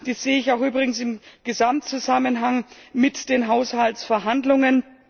Dies sehe ich auch übrigens im Gesamtzusammenhang mit den Haushaltsverhandlungen.